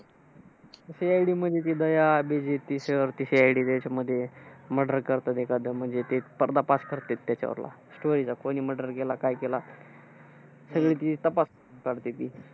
CID मध्ये ते दया, अभिजीत ते sir ते CID त्याच्यामध्ये ते murder करतात एखादं. म्हणजे ते करतात त्याच्यावरला. Story चा कोणी murder केला? काय केला? सगळं ते तपासून काढते ती.